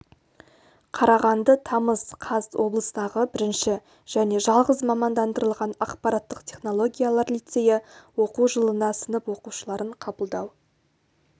қарағанды тамыз қаз облыстағы бірінші және жалғыз мамандандырылған ақпараттық технологиялар лицейі оқу жылына сынып оқушыларын қабылдау